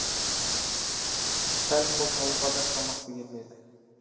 сәл қозғалуға да шамасы келмеді